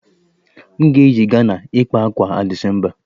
M ga-eyi Ghana ịkpa ákwà a December